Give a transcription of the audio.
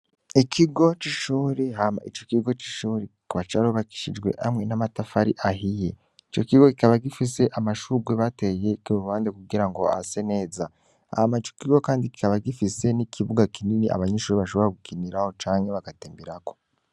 Ikigo c'ishuri hama ico kigo c'ishuri kikaba carubakishijwe hamwe n'amatafari ahiye ico kigo kikaba gifise amashurwe bateye kerubande kugira ngo ase neza hama ico kigo, kandi kikaba gifise n'ikibuga kinini abanyinshuri bashobora gukiniraho canke bagatemberako.